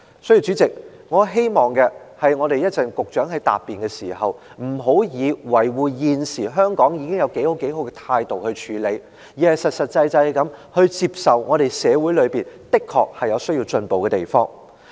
所以，主席，我希望稍後局長在答辯時，不要以辯護的態度來處理，說現時香港已經有多好，而是實實際際地接受社會的確有需要進步的地方。